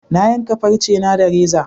Na yanka farce na da reza